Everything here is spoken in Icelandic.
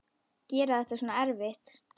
Gera þetta svona erfitt.